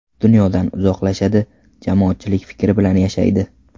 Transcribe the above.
Dunyodan uzoqlashadi, jamoatchilik fikri bilan yashaydi.